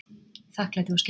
Þakklæti og skilningur